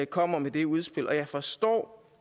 kommer med det udspil jeg forstår